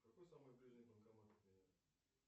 какой самый ближний банкомат от меня